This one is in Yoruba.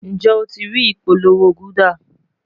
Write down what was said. Njẹ o ti rii ipolowo gulder?